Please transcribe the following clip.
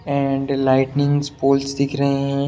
And lighting pole दिख रहे हैं।